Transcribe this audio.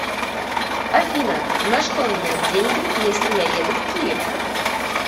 афина на что менять деньги если я еду в киев